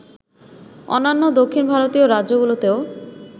অন্যান্য দক্ষিণ ভারতীয় রাজ্যগুলোতেও